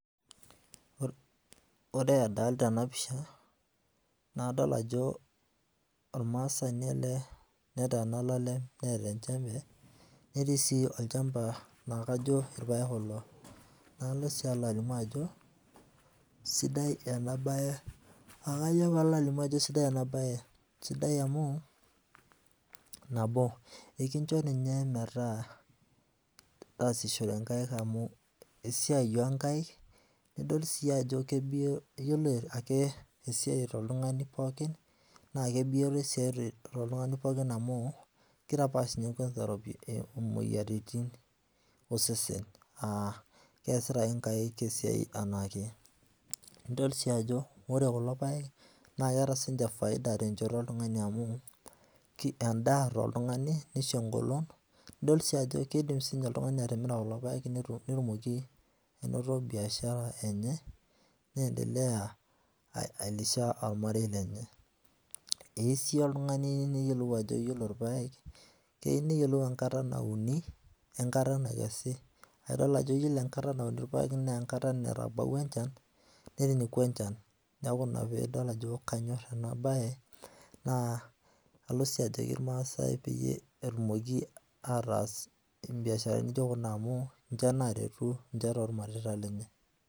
Ore adolita ena pisha, naa kadol ajo ormaasani ele neteena olalem neeta enjembe netii sii olchamba laa kajo irpaek kulo. Nalo sii alimu ajo sidai ena bae, akajo paalo alimu ajo sidai ena bae, sidai amu, nabo ikincho ninye metaa taasishore nkaik amu esiai oo nkaik nidol sii ajo kebioto, iyiolo ake esiai eeta oltung'ani pookin naa kebioto esiai toltung'ani pookin amu titapaash ninye kwanza imwoyiaritin osesen aa keesita ake nkaik esiai enaake. Nidol sii ajo ore kulo paek naa keeta siininche faida tenchoto oltung'ani amu endaa toltung'ani, nisho engolon, nidol sii ajo kiidim oltung'ani atimira kulo paek netum, netumoki anoto biashara enye neendelea ailisha ormarei lenye. Eyieu sii oltung'ani neyiolou ajo iyiolo irpaek keyieu neyiolou enkata nauni, enkata nakesi. Aidol ajo iyiolo enkata nauni irpaek naa enkata natabawua enchan, neeku enchan neeku ina piidol ajo kanyoo piinyorr ena bae. Naa Kalo sii ajoki irmaasai peyie etumoki ataas imbiasharani naijo kuna amu ninche naaretu ninche tormareita lenye